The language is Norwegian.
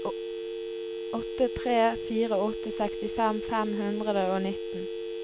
åtte tre fire åtte sekstifem fem hundre og nitten